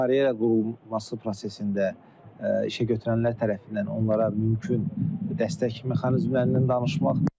karyera qurulması prosesində işəgötürənlər tərəfindən onlara mümkün dəstək mexanizmlərindən danışmaq.